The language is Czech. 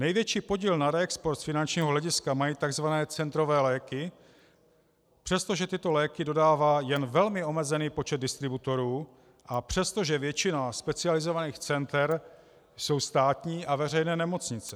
Největší podíl na reexportu z finančního hlediska mají tzv. centrové léky, přestože tyto léky dodává jen velmi omezený počet distributorů a přestože většina specializovaných center jsou státní a veřejné nemocnice.